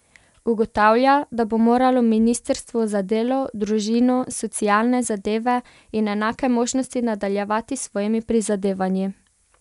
Ugotavlja, da bo moralo ministrstvo za delo, družino, socialne zadeve in enake možnosti nadaljevati s svojimi prizadevanji.